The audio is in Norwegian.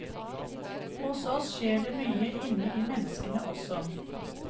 Hos oss skjer det mye inne i menneskene også.